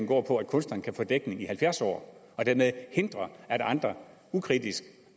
går på at kunstnerne kan få dækning i halvfjerds år og dermed hindre at andre ukritisk